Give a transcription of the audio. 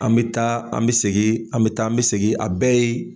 An bɛ taa an bi segin, an bi taa an bi segin a bɛɛ ye